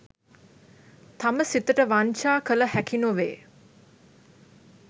තම සිතට වංචා කළ හැකි නොවේ.